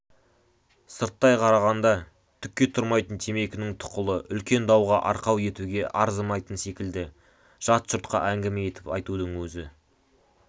сырттай қарағанда түкке тұрмайтын темекінің тұқылы үлкен дауға арқау етуге арзымайтын секілді жат жұртқа әңгіме етіп айтудың өзі